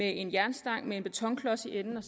en jernstang med en betonklods i enden og